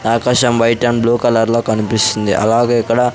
ఆకాశం white and blue కలర్లో కన్పిస్తుంది అలాగే ఇక్కడ--